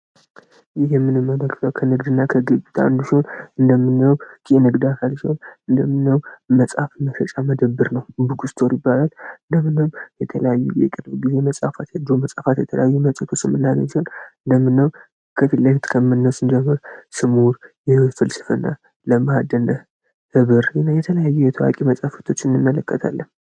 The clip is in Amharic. ይህ የምንመለከተው ከንግድ እና ከግግጣ አንዱስሆን እንደምነው ንግዳካል ችሆን እንደምነው መጻሐፍ መፈጫ መደብር ነው። ብክ ስትወር ይባላል። እንደምናየው የተለዩ የቅለው ጊዜ መጻፋት የድሮ መጽፋት የተለያዩ መጸቱ ስምና ይዘት እንደምናየው ከፊለክት ከምነስንጀምር ስሙውር የህፍልስፍ እና ለማህድነህ ህብር ነ የተለያዩ የተዋቂ መጻፍቶች እንመለከታለን።